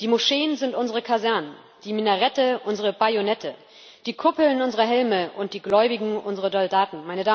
Die Moscheen sind unsere Kasernen, die Minarette unsere Bajonette, die Kuppeln unsere Helme und die Gläubigen unsere Soldaten.